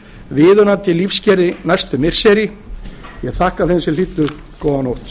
viðunandi lífsskilyrði næstu missiri ég þakka þeim sem hlýddu góða nótt